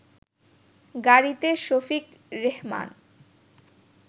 গাড়িতে শফিক রেহমান